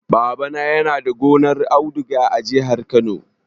Babana yana da gonar auduga a jihar Kano.